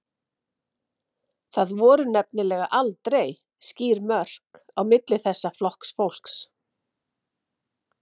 Það voru nefnilega aldrei skýr mörk á milli þessara flokka fólks.